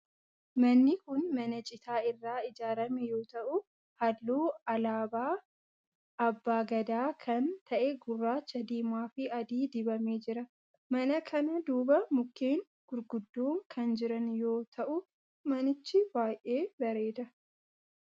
Manni kun mana citaa irraa ijaarame yoo ta'u halluu alaabaa abbaa Gadaa kan ta'e gurraacha, diimaa fi adii dibamee jira. Mana kana duuba mukkeen gurguddoon kan jiran yoo ta'u manichi baayyee bareeda.